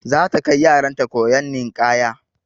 Za ta kai yaran ta koyon ninƙaya.